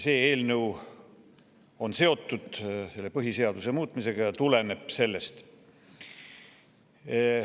See eelnõu on seotud põhiseaduse muutmisega ja tuleneb sellest.